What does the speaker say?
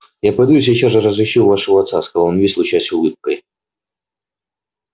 я пойду и сейчас же разыщу вашего отца сказал он весь лучась улыбкой